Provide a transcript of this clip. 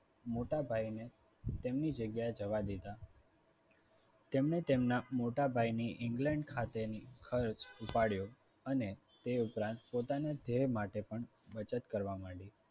મોટાભાઈ ને તેમની જગ્યાએ જવા દીધા. તેમને તેમના મોટાભાઈ ની england ખાતેની ખર્ચ ઉપાડ્યો. અને તે ઉપરાંત પોતાના ધ્યેય માટે પણ બચત કરવા માડયા.